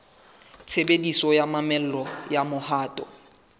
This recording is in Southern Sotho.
tshebediso ya mamello ya mohato